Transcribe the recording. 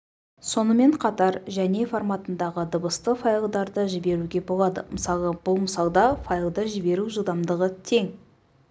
сонымен қатар және форматындағы дыбысты файлдарды жіберуге болады мысалы бұл мысалда файлды жіберу жылдамдығы тең